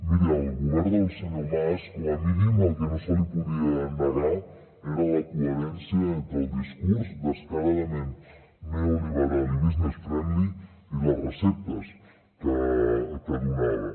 miri al govern del senyor mas com a mínim el que no se li podia negar era la coherència entre el discurs descaradament neoliberal i business friendly i les receptes que donava